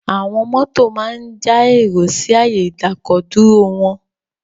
Àwọn mọ́tò máa ń ja èrò sí ààyè ìdákọ̀-dúró wọn.